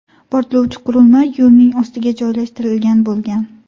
Portlovchi qurilma yo‘lning ostiga joylashtirilgan bo‘lgan.